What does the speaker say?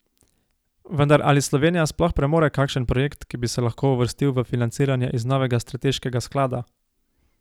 Vendar ali Slovenija sploh premore kakšen projekt, ki bi se lahko uvrstil v financiranje iz novega strateškega sklada?